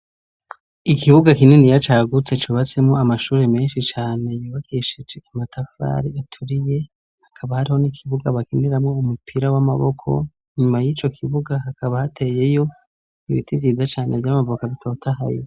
Ikibuga kininiya cagutse cubatsemwo amashuri menshi cane yubakeshije amatafari aturiye, hakaba hariho n'ikibuga bakiniramwo umupira w'amaboko, inyuma y'ico kibuga hakaba hateyeyo ibiti vyiza cane vy' amavoka bitothaye.